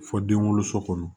Fɔ den wolo so kɔnɔ